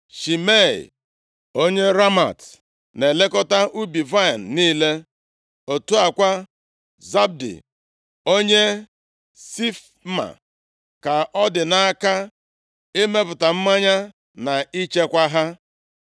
Shimei onye Ramat na-elekọta ubi vaịnị niile. Otu a kwa, Zabdi onye Sifma ka ọ dị nʼaka imepụta mmanya na ichekwa ha.